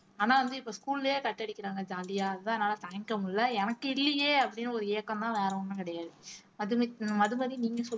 ஆனா வந்து இப்ப school லயே cut அடிக்கிறாங்க jolly ஆ அதான் என்னால தாங்கிக்க முடியலை எனக்கு இல்லையே அப்படின்னு ஒரு ஏக்கம்தான் வேற ஒண்ணும் கிடையாது மது மதுமதி நீங்க சொல்